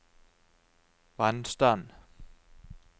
vannstand